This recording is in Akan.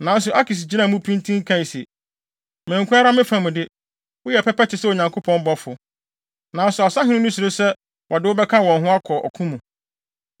Nanso Akis gyinaa mu pintinn kae se, “Me nko ara me fa mu de, woyɛ pɛpɛ te sɛ Onyankopɔn bɔfo. Nanso asahene no suro sɛ wɔde wo bɛka wɔn ho wɔ ɔko mu.